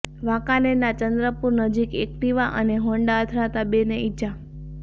વાંકાનેરના ચંદ્રપુર નજીક એક્ટિવા અને હોન્ડા અથડાતા બે ને ઇજા